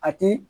A ti